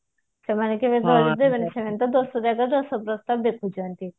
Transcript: ସେମାନେ ସବୁ ସେମାନେ ତ ଦଶଜାଗା ଦଶ ପ୍ରସ୍ତାବ ଦେଖୁଛନ୍ତି